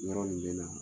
Yɔrɔ nin bɛ na